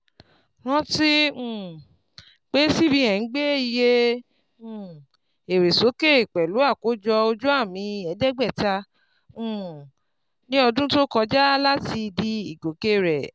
rántí um pé cbn gbé ìyè um èrè sókè pẹlú àkójọ ojuami ẹ̀ẹ́dẹ́gbẹ́ta um ní ọdún tó kọjá láti dí ìgòkè rẹ.